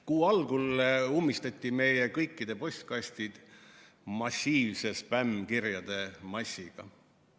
Kuu algul ummistati meie kõikide postkastid massiivse spämmkirjade massiga.